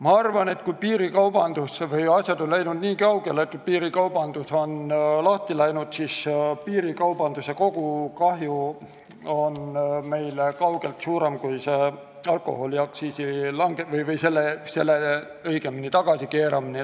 Ma arvan, et kui asjad on läinud nii kaugele, et piirikaubandus on lahti läinud, siis piirikaubanduse kogukahju on kaugelt suurem kui alkoholiaktsiisi tagasikeeramisel.